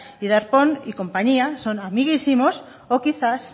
y darpón y compañía son amiguísimos o quizás